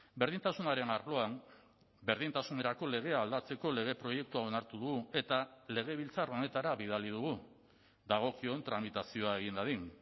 berdintasunaren arloan berdintasunerako legea aldatzeko lege proiektua onartu du eta legebiltzar honetara bidali dugu dagokion tramitazioa egin dadin